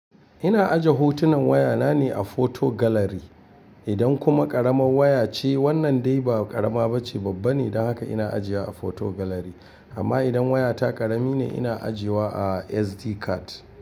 Ina aje hotunan waya na ne a photo gallery. Idan kuma ƙaramar waya ce, wannan dai ba ƙarama bace babba ne, don haka ina ajiye a photo gallery. Amma idan wayata ƙarami ne, ina ajiye wa a SD card.